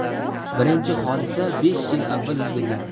Birinchi hodisa besh yil avval yuz bergan.